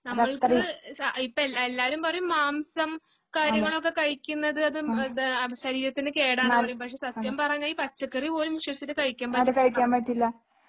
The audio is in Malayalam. നമ്മൾക്ക് ഇപ്പം എല്ലാ എല്ലാവരും പറയും മാംസം കാര്യങ്ങളൊക്കെ കഴിക്കുന്നത് അത് ഇത് ശരീരത്തിന് കേടാണെന്ന് പറയും പക്ഷേ സത്യം പറഞ്ഞാൽ ഈ പച്ചക്കറി പോലും വിശ്വസിച്ചിട്ട് കഴിക്കാൻ പറ്റില്ല